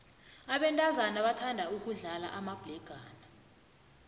abentazana bathanda ukudlala amabhlegana